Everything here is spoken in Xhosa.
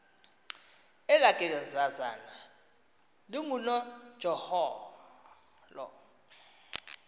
elaa gezazana lingunojaholo